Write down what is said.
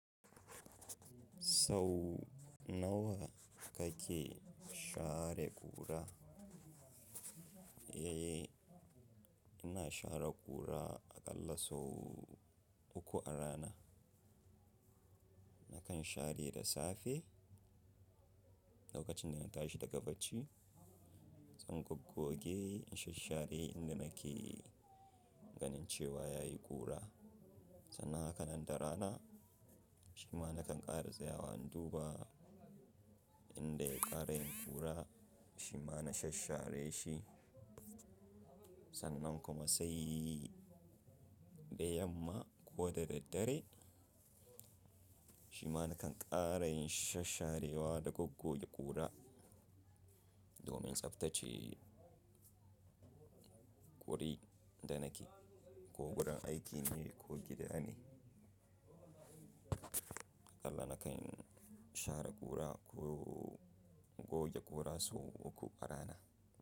Sau nawa kake share ƙura? Eh, ina share ƙura aƙalla sau uku a rana. Nakan share da safe, lokacin da na tashi daga barci, zan goggoge in shashshare inda nake ganin cewa yayi ƙura. Sannan a haka nan da rana, shima nakan ƙara tsayawa in duba inda ya ƙara yin ƙura, shima na shashshare shi. Sannan kuma sai da yamma ko da daddare, shima nakan ƙara yin shashsharewa da goggoge ƙura, domin tsabtace guri da nake, ko gurin aiki ne ko gida ne. Aƙalla nakan share ƙura ko goge ƙura sau uku a rana.